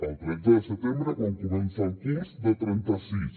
el tretze de setembre quan comença el curs de trenta sis